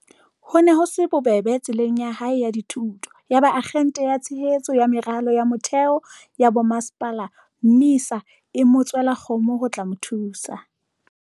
Ho ne ho se bobebe tseleng ya hae ya dithuto. Yaba Akgente ya Tshehetso ya Meralo ya Mo-theo ya Bomasepala, MISA, e mo tswela kgomo ho tla mo thusa.